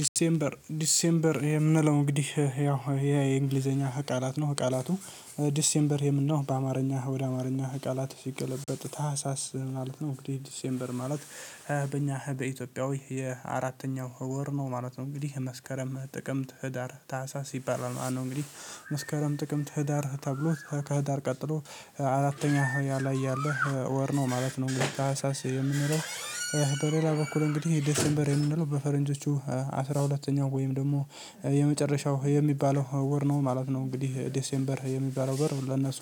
ዲሴምበር ዲሴምበር የምንለው እንግዲህ ያው ይሄ የእንግሊዘኛ ቃላት ነው ቃላቱ ዲሴምበር የምንለው በአማርኛ ወደ አማርኛ ቃላት ሲገለበጥ ታህሳስ ማለት ነው። እንግዲህ ዲሴምበር ማለት በእኛ በኢትዮጵያዊ የአራተኛው ወር ነው ማለት ነው። እንግዲህ መስከረም ጥቅምት ህዳር ታህሳስ ይባላል ማለት ነው። እንግዲህ መስከረም ጥቅምት ህዳር ተብሎ ከህዳር ቀጥሎ አራተኛ ያ ላይ ያለህ ወር ነው ማለት ነው። እንግዲህ ታህሳስ የምንለው በሌላ በኩል እንግዲህ የዴሴምበር የምንለው በፈረንጆቹ አስራ ሁለተኛው ወይም ደግሞ የመጨረሻው የሚባለው አወር ነው ማለት ነው። እንግዲህ ዴሴምበር የሚባለው ወር ለነሱ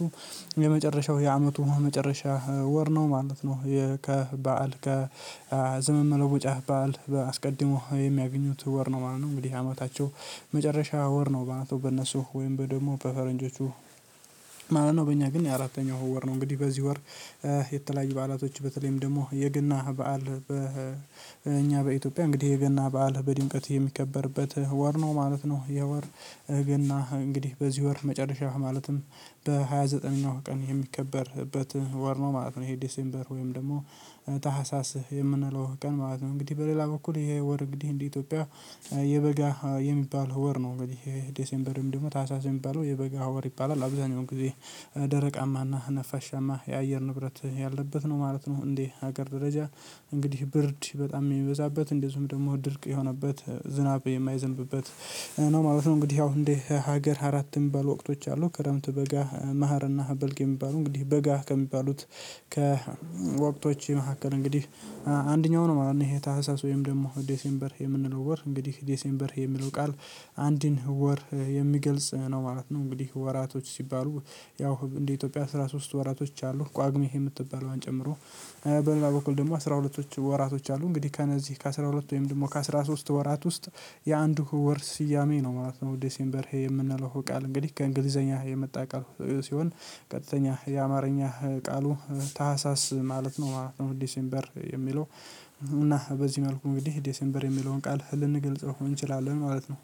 የመጨረሻው የአመቱ መጨረሻ ወር ነው ማለት ነው። ከበዓል ከዘመን መለወጪያ በዓል አስቀድሞ የሚያገኙት ወር ነው ማለት ነው። እንግዲህ አመታቸው መጨረሻ ወር ነው ማለት ነው። በእነሱ ወይም በደግሞ በፈረንጆቹ ማለት ነው። በእኛ ግን የአራተኛው ወር ነው። እንግዲህ በዚህ ወር የተለያዩ በዓላቶች በተለይም ደግሞ የገና በዓል በእኛ በኢትዮጵያ እንግዲህ የገና በዓል በድንቀት የሚከበርበት ወር ነው ማለት ነው። ይህ ወር ገና እንግዲህ በዚህ ወር መጨረሻ ማለትም በሃያ ዘጠነኛው ቀን የሚከበርበት ወር ነው ማለት ነው። ይሄ ዲሴምበር ወይም ደግሞ ታህሳስ የምንለው ቀን ማለት ነው። እንግዲህ በሌላ በኩል ይሄ ወር እንግዲህ እንደ ኢትዮጵያ የበጋ የሚባለው ወር ነው። እንግዲህ ይሄ ዴሴምበር ወይም ደግሞ ታህሳስ የሚባለው የበጋ ወር ይባላል አብዛኛውን ጊዜ ደረቃማና ነፋሻማ የአየር ንብረት ያለበት ነው ማለት ነው። እንደ ሀገር ደረጃ እንግዲህ ብርድ በጣም የሚበዛበት እንደዚሁም ደግሞ ድርቅ የሆነበት ዝናብ የማይዘንብበት ነው ማለት ነው። እንግዲህ ያው እንደ ሀገር አራት የሚባሉ ወቅቶች አሉ። ክረምት በጋ መሀርና በልግ የሚባሉ እንግዲህ በጋ ከሚባሉት ከወቅቶቼ የመካከል እንግዲህ አንደኛው ነው ማለት ነው። ይሄ ታህሳስ ወይም ደግሞ ዴሴምበር የምንለው ወር እንግዲህ ዴሴምበር የሚለው ቃል አንድን ወር የሚገልጽ ነው ማለት ነው። እንግዲህ ወራቶች ሲባሉ ያው እንደ ኢትዮጵያ አስራ ሶስት ወራቶች አሉ። ጳግሜ የምትባለዋን ጨምሮ በልላ በኩል ደግሞ አስራ ሁለቶች ወራቶች አሉ። እንግዲህ ከነዚህ ከአስራ ሁለት ወይም ደግሞ ከአስራ ሶስት ወራት ውስጥ የአንዱ ወር ስያሜ ነው ማለት ነው። ዴሴምበር የምንለው ቃል እንግዲህ ከእንግሊዘኛ የመጣ ቃል ሲሆን ቀጥተኛ የአማርኛ ቃሉ ታህሳስ ማለት ነው ማለት ነው። ዲሴምበር የሚለው እና በዚህ መልኩ እንግዲህ ዴሴምበር የሚለውን ቃል ልንገልጸው እንችላለን ማለት ነው።